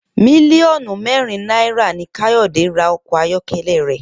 Mílíò̩nù mé̩rin náírà ni Káyò̩dé ra o̩kò̩ ayó̩ké̩lé̩ rè̩